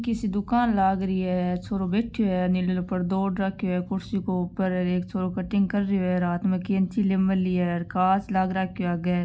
किसी दुकान लाग रही है छोरो बैठयो है नीलो नीलो पर्दो ओढ़ राख्यो है कुर्सी के ऊपर एक छोरो कटिग कर रहियो है हेर हाथ में केची ले मेली है कांच लाग राख्यो है आगे है।